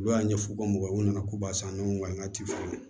Olu y'a ɲɛfɔ u ka mɔgɔw nana ko ba san ɲɔgɔn walankata